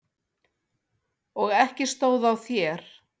Og ekki stóð á þér.